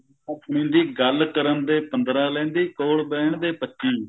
ਸੁਣੀਦੀ ਗੱਲ ਕਰਨ ਦੇ ਪੰਦਰਾਂ ਲੈਂਦੀ ਕੋਲ ਬਿਹਣ ਦੇ ਪੱਚੀ